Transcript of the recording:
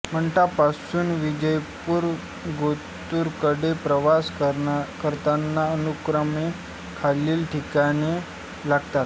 मंठा पासून विजयपूर गोतूर कडे प्रवास करताना अनुक्रमे खालील ठिकाणे लागतात